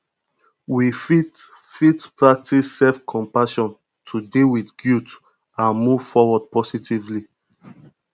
we fit fit practice selfcompassion to deal with guilt and move forward positively